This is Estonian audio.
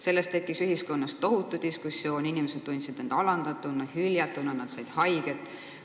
Sellest tekkis ühiskonnas tohutu diskussioon, inimesed tundsid end alandatuna, hüljatuna, nad said haiget.